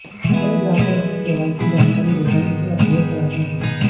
पर जाकर अपनी केवाईसी जानकारी देकर इसे अपग्रेड कराना होगा